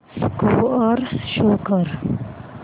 score show कर